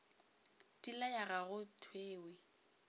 di laya ga go thewe